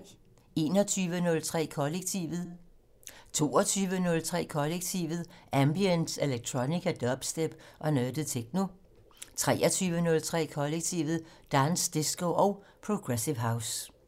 21:03: Kollektivet 22:03: Kollektivet: Ambient, electronica, dubstep og nørdet techno 23:03: Kollektivet: Dance, disco og progressive house